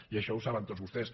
i això ho saben tots vostès